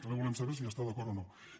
també volem saber si hi està d’acord o no